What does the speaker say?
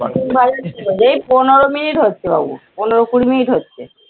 পনেরো মিনিট হচ্ছে বাবু, পনেরো কুড়ি মিনিট হচ্ছে।